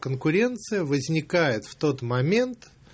конкуренция возникает в тот момент